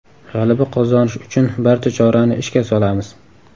G‘alaba qozonish uchun barcha chorani ishga solamiz.